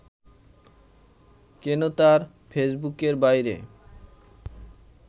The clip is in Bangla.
কেন তার ফেসবুকের বাইরে